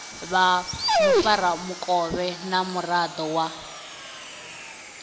vha mufaramukovhe na muraḓo wa